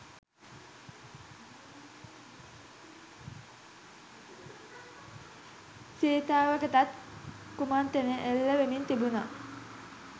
සීතාවකටත් කුමන්ත්‍රණ එල්ල වෙමින් තිබුන.